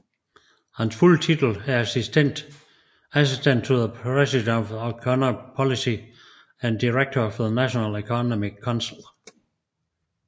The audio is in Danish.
Hans fulde titel er Assistant to the President for Economic Policy and Director of the National Economic Council